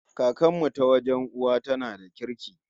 Kakar mu ta wajen uwa tana da kirki